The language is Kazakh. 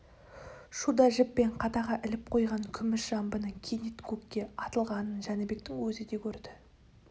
шуда жіппен қадаға іліп қойған күміс жамбының кенет көкке атылғанын жәнібектің өзі де көрді